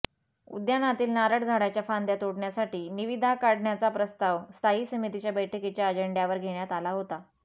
उद्यानातील नारळ झाडाच्या फांद्या तोडण्यासाठी निविदा काढण्याचा प्रस्ताव स्थायी समितीच्या बैठकीच्या अजेंडयावर घेण्यात आला होता